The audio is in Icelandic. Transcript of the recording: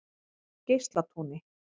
Geislatúni